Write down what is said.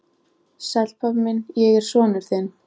Sæll, pabbi minn, ég er sonur þinn.